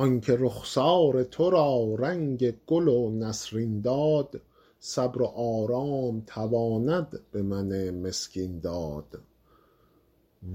آن که رخسار تو را رنگ گل و نسرین داد صبر و آرام تواند به من مسکین داد